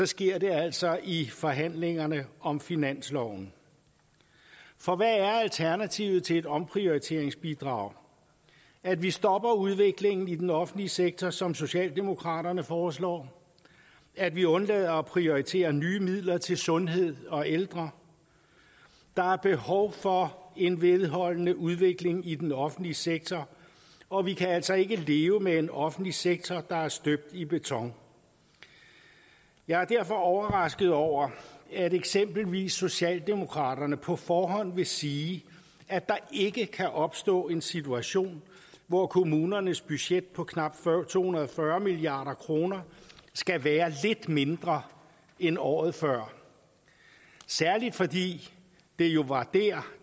sker der altså i forhandlingerne om finansloven for hvad er alternativet til et omprioriteringsbidrag at vi stopper udviklingen i den offentlige sektor som socialdemokraterne foreslår at vi undlader at prioritere nye midler til sundhed og ældre der er behov for en vedholdende udvikling i den offentlige sektor og vi kan altså ikke leve med en offentlig sektor der er støbt i beton jeg er derfor overrasket over at eksempelvis socialdemokraterne på forhånd vil sige at der ikke kan opstå en situation hvor kommunernes budget på knap to hundrede og fyrre milliard kroner skal være lidt mindre end året før særligt fordi det jo var